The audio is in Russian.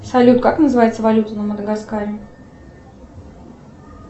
салют как называется валюта на мадагаскаре